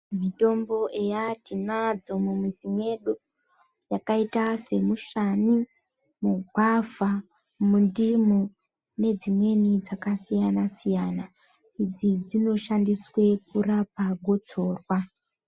Mitombo eya tinandzo mumizi mwedu dzakaita semushani ,mugwavha, mundimu nedzimweni dzakasiyanasiyana idzi dzinoshandiswa kurapa gotsorwa.